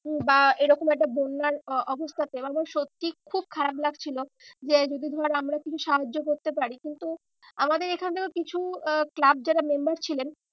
উম বা এরকম একটা বন্যার অবস্থাতে বা সত্যি খুব খারাপ লাগছিল। যে যদি ধর আমরা কিছু সাহায্য করতে পারি কিন্তু আমাদের এখান থেকে কিছু আহ club যারা member ছিলেন